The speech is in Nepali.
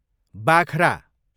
बाख्रा